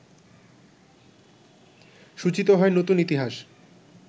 সূচিত হয় নতুন ইতিহাস